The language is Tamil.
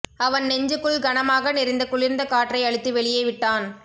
அவன் நெஞ்சுக்குள் கனமாக நிறைந்த குளிர்ந்த காற்றை அழுத்தி வெளியே விட்டான்